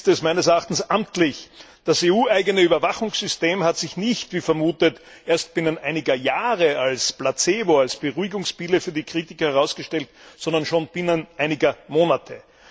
Jetzt ist es meines Erachtens amtlich Das EU eigene Überwachungssystem hat sich nicht, wie vermutet, erst binnen einiger Jahre als Placebo, als Beruhigungspille für die Kritiker, herausgestellt, sondern schon binnen einiger Monate.